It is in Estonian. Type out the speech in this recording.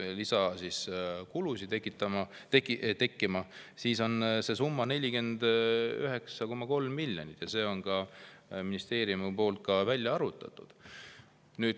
See summa on 49,3 miljonit, see on ministeeriumi poolt välja arvutatud.